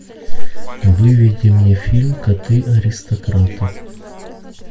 выведи мне фильм коты аристократы